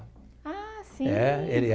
Ah, sim. É, ele é..